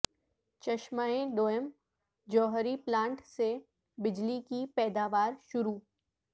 چشمہ دوئم جوہری پلانٹ سے بجلی کی پیداوار شروع